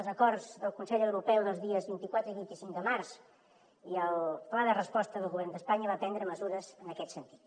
els acords del consell europeu dels dies vint quatre i vint cinc de març i el pla de resposta del govern d’espanya va prendre mesures en aquest sentit